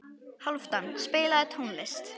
Hálfdan, spilaðu tónlist.